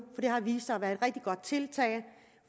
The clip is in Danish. det har vist sig at være et rigtig godt tiltag